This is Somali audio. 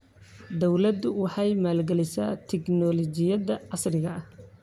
Dawladdu waxay maalgelisaa tignoolajiyada casriga ah.